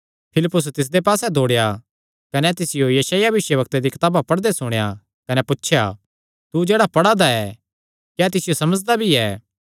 फिलिप्पुस तिसदे पास्से दौड़ेया कने तिसियो यशायाह भविष्यवक्ता दिया कताबा पढ़दे सुणेया कने पुछया तू जेह्ड़ा पढ़ा दा ऐ क्या तिसियो समझदा भी ऐ